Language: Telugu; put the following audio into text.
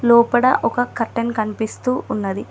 లోపడ ఒక కర్టెన్ కనిపిస్తూ ఉన్నది.